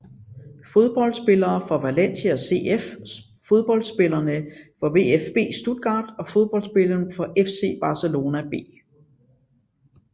Fodboldspillere fra Valencia CF Fodboldspillere fra VfB Stuttgart Fodboldspillere fra FC Barcelona B